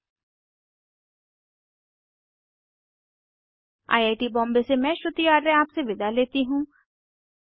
httpspoken tutorialorgNMEICT Intro I I T Bombay से मैं श्रुति आर्य आपसे विदा लेती हूँ